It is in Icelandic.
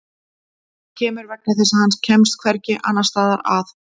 Hann kemur vegna þess að hann kemst hvergi annars staðar að.